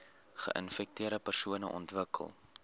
geinfekteerde persone ontwikkel